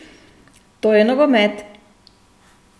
To je nogomet!